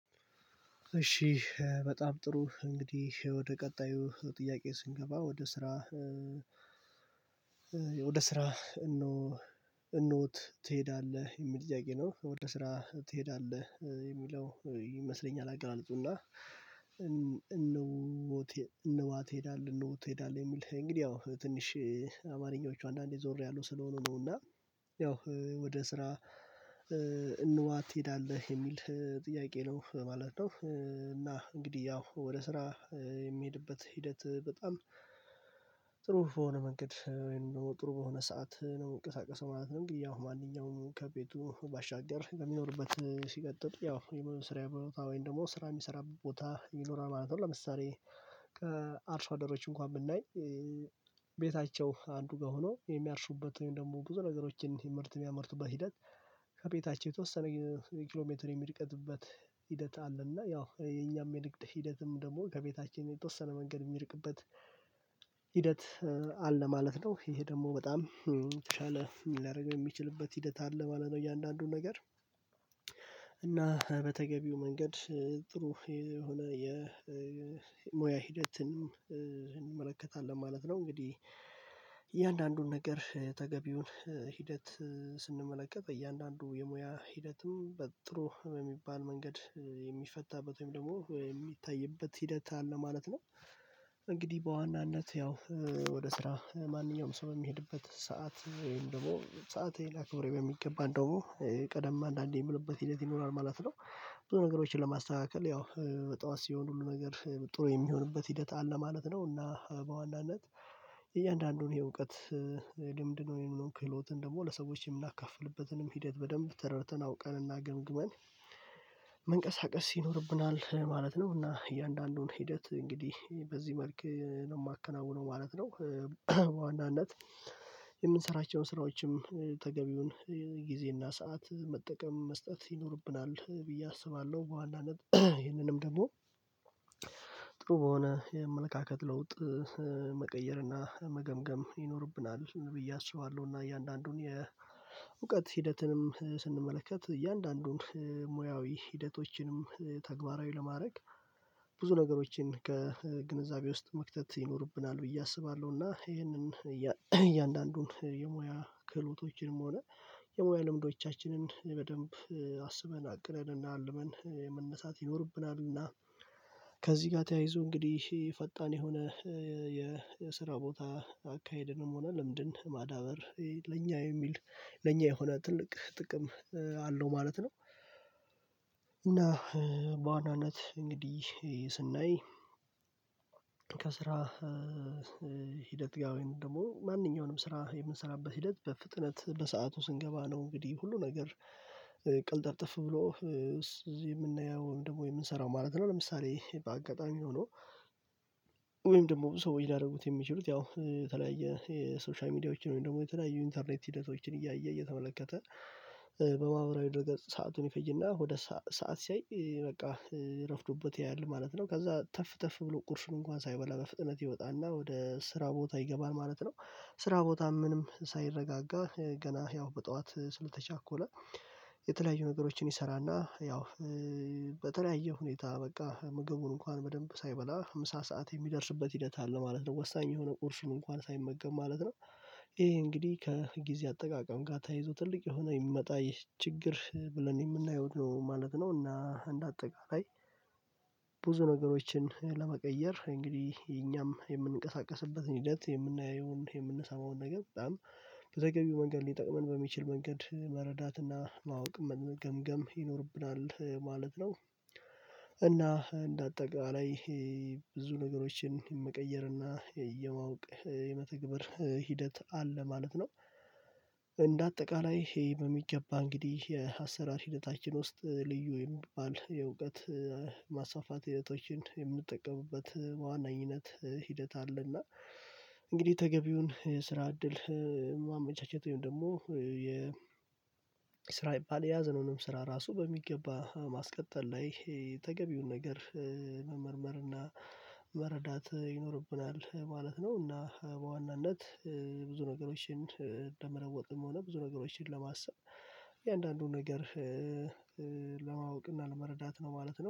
እሺ በጣም ጥሩ እንግዲህ ወደ ቀጣዩ ጥያቄ ስንገባ ወደ ስራ ወደ ስራ እኖ እኖት ትሄዳለህ የሚል ጥያቄ ነው ወደ ስራ ትሄዳለህ የሚለው ይመስለኛል አገላለፁ እና እነዋ ትሄዳለህ እነሆ ትሄዳለህ የሚል እንግዲህ ያው ትንሽ አማርኛዎቹ አንዳንዴ ዞር ያሉ ስለሆኑ ነው እና ያው ወደ ስራ እንዋት ትሄዳለህ የሚል ጥያቄ ነው ማለት ነው። እና እንግዲህ ያው ወደ ስራ የሚሄድበት ሂደት በጣም ጥሩ በሆነ መንገድ ወይም ጥሩ በሆነ ሰዓት ነው ምንቀሳቀሰው ማለት ነው። እንግዲህ ያው ማንኛውንም ከቤቱ ባሻገር ከሚኖርበት ሲቀጥል ያው ይሄ ስራ ቦታ ወይም ደግሞ ስራ የሚሰራ ቦታ ይኖራል ማለት ነው። ለምሳሌ አደሮች እንኳን ብናይ ቤታቸው አንዱ ጋር ሆኖ የሚያርሱበትን ደግሞ ብዙ ነገሮችን ምርት የሚያመርቱበት ሂደት ከቤታቸው የተወሰነ የኪሎ ሜትር የሚርቅትበት ሂደት አለ እና ያው የኛም የንግድ ሂደትም ደግሞ ከቤታችን የተወሰነ መንገድ የሚርቅበት ሂደት አለ ማለት ነው። ይሄ ደግሞ በጣም የተሻለ ላረገው የሚችልበት ሂደት አለ ማለት ነው። እያንዳንዱን ነገር እና በተገቢው መንገድ ጥሩ የሆነ የሞያ ሂደትንም እንመለከታለን ማለት ነው። እንግዲህ እያንዳንዱን ነገር ተገቢውን ሂደት ስንመለከት እያንዳንዱ የሙያ ሂደትም በጥሩ የሚባል መንገድ የሚፈታበት ወይም ደግሞ የሚታይበት ሂደት አለ ማለት ነው። እንግዲህ በዋናነት ያው ወደ ስራ ማንኛውም ሰው የሚሄድበት ሰዓት ወይም ደግሞ ሰአቴን አክብሬ በሚገባ እንደውም ቀደም አንዳንዴ የምልበት ሂደት ይሆናል ማለት ነው። ብዙ ነገሮችን ለማስተካከል ያው በጧት ሲሆን ሁሉ ነገር ጥሩ የሚሆንበት ሂደት አለ ማለት ነው። እና በዋናነት የእያንዳንዱን ይሄ እውቀት ልምድን ወይም ክህሎትን ደግሞ ለሰዎች የምናካፍልበትንም ሂደት በደንብ ተረድተን አውቀንና ገምግመን መንቀሳቀስ ይኖርብናል ማለት ነው። እና እያንዳንዱን ሂደት እንግዲህ በዚህ መልክ ነው የማከናውነው ማለት ነው። በዋናነት የምንሰራቸውን ስራዎችም ተገቢውን ጊዜና ሰዓት መጠቀም መስጠት ይኖርብናል ብዬ አስባለሁ በዋናነት ይህንንም ደግሞ ጥሩ በሆነ የአመለካከት ለውጥ መቀየር እና መገምገም ይኖርብናል ብዬ አስባለሁ። እና እያንዳንዱን የእውቀት ሂደትንም ስንመለከት እያንዳንዱን ሙያዊ ሂደቶችንም ተግባራዊ ለማድረግ ብዙ ነገሮችን ከግንዛቤ ውስጥ መክተት ይኖርብናል ብዬ አስባለሁ። እና ይሄንን እያንዳንዱን የሙያ ክህሎቶችንም ሆነ የሙያ ልምዶቻችንን በደንብ አስበን አቅረን እና አልመን የመነሳት ይኖርብናልና ከዚህ ጋር ተያይዞ እንግዲህ ፈጣን የሆነ የስራ ቦታ አካሄድንም ሆነ ለምንድን ማዳበር ለኛ የሚል ለኛ የሆነ ትልቅ ጥቅም አለው ማለት ነው። እና በዋናነት እንግዲህ ስናይ ከስራ ሂደት ጋር ወይም ደግሞ ማንኛውንም ስራ የምንሰራበት ሂደት በፍጥነት በሰአቱ ስንገባ ነው እንግዲህ ሁሉ ነገር ቅልጥብጥፍ ብሎ እዚህ የምናየው ወይም ደግሞ የምንሰራው ማለት ነው። ለምሳሌ በአጋጣሚ ሆኖ ወይም ደግሞ ሰው ሊያደርጉት የሚችሉት ያው የተለያየ የሶሻል ሚዲያዎችን ወይም ደግሞ የተለያዩ ኢንተርኔት ሂደቶችን እያየ እየተመለከተ በማህበራዊ ድረገፅ ሰአቱን ይፈጅና ወደ ሰዓት ሰዓት ሲያይ በቃ ረፍዶበት ያያል ማለት ነው። ከዛ ተፍ ተፍ ብሎ ቁርሱን እንኳን ሳይበላ በፍጥነት ይወጣና ወደ ስራ ቦታ ይገባል ማለት ነው። ስራ ቦታ ምንም ሳይረጋጋ ገና ያው በጠዋት ስለተቻኮለ የተለያዩ ነገሮችን ይሰራና ያው በተለያየ ሁኔታ በቃ ምግቡን እንኳን በደንብ ሳይበላ ምሳ ሰዓት የሚደርስበት ሂደት አለ ማለት ነው ወሳኝ የሆነ ቁርሱን እንኳን ሳይመገብ ማለት ነው። ይሄ እንግዲህ ከጊዜ አጠቃቀም ጋር ተይዞ ትልቅ የሆነ የሚመጣ ይህ ችግር ብለን የምናየው ነው ማለት ነው። እና እንደ አጠቃላይ ነገሮችን ለመቀየር እንግዲህ እኛም የምንቀሳቀስበትን ሂደት የምናየውን የምንሰማውን ነገር በጣም በተገቢው መንገድ ሊጠቅመን በሚችል መንገድ መረዳትና ማወቅ መገምገም ይኖርብናል ማለት ነው። እና እንደ አጠቃላይ ብዙ ነገሮችን የመቀየር እና የማወቅ የመተግበር ሂደት አለ ማለት ነው። እንደ አጠቃላይ ይሄ በሚገባ እንግዲህ የአሰራር ሂደታችን ውስጥ ልዩ የሚባል የእውቀት ማስፋፋት ሂደቶችን የምንጠቀምበት ዋናኝነት ሂደት አለና እንግዲህ ተገቢውን የስራ እድል ማመቻቸት ወይም ደግሞ የ ስራ ይባል የያዘነውንም ስራ ራሱ በሚገባ ማስቀጠል ላይ ተገቢውን ነገር መመርመርና መረዳት ይኖርብናል ማለት ነው። እና በዋናነት ብዙ ነገሮችን እንደመለወጥም ሆነ ብዙ ነገሮችን ለማሰብ የእያንዳንዱን ነገር ለማወቅ እና ለመረዳት ነው ማለት ነው